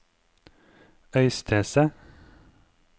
Øystese